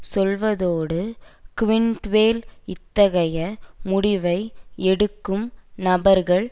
சொல்வதோடு க்வின்ட்வேல் இத்தகைய முடிவை எடுக்கும் நபர்கள்